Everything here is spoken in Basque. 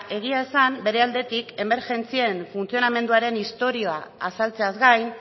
egia esan bere aldetik emergentzien funtzionamenduaren istorioa azaltzeaz gain